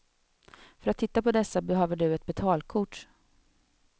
För att titta på dessa behöver du ett betalkort.